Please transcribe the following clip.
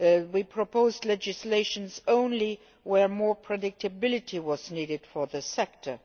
We propose legislation only where more predictability was needed for the sector.